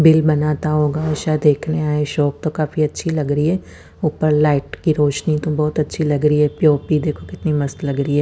Bill बनाता होगा शायद देखने आए शॉप तो काफी अच्छी लग रही है ऊपर लाइट की रोशनी तो बहुत अच्छी लग रही है पी_ओ_पी देखो कितनी मस्त लग रही है।